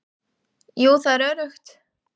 Jú, það er öruggt.